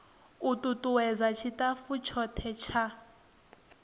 u tutuwedza tshitafu tshothe tsha